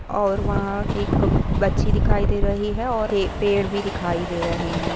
और वहा एक बच्छी दिखाई दे रही है और ये पेड़ भी दिखाई दे रहे है।